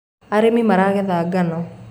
arĩmi maragetha ngano